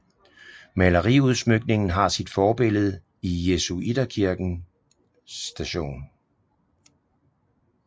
Maleriudsmykningen har sit forbillede i jesuiterkirken St